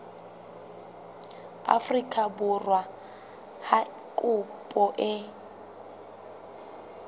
afrika borwa ha kopo e